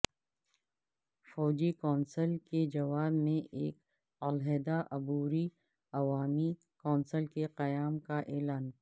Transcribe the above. فوجی کونسل کے جواب میں ایک علحدہ عبوری عوامی کونسل کے قیام کا اعلان